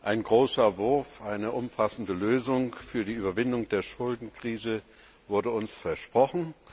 Ein großer Wurf, eine umfassende Lösung für die Überwindung der Schuldenkrise wurde uns versprochen.